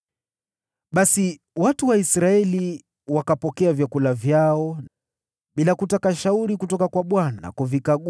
Basi watu wa Israeli wakavikagua vyakula vyao bila kupata shauri kutoka kwa Bwana .